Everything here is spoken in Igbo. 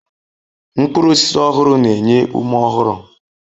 Mkpụrụ osisi ọhụrụ na-enye ume ọhụrụ